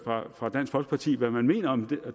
fra dansk folkepartis side hvad man mener om